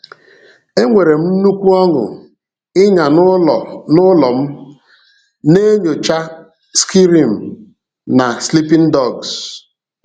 Enwere m nnukwu ọṅụ ịnya n’ụlọ n’ụlọ m, na-enyocha Skyrim na Sleeping Dogs.